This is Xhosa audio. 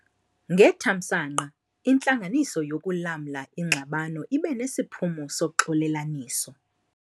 Ngethamsanqa, intlanganiso yokulamla ingxabano ibe nesiphumo soxolelaniso.